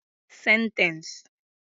Sentence